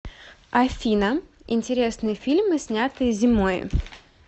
афина интересные фильмы снятые зимои